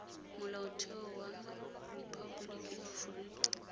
molaotheo wa rephaboliki ya aforika